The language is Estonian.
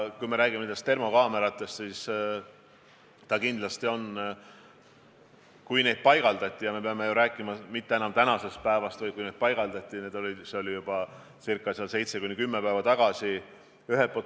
Kui me räägime termokaameratest, siis me ei räägi ju tänasest päevast, vaid need paigaldati juba seitse kuni kümme päeva tagasi.